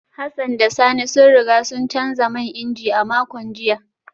Hassan da Sani sun riga sun canza man inji a makon jiya